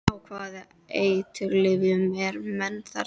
Á hvaða eiturlyfjum eru menn þarna?